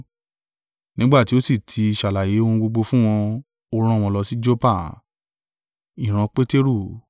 Nígbà tí ó sì tí ṣàlàyé ohun gbogbo fún wọn, ó rán wọn lọ sí Joppa.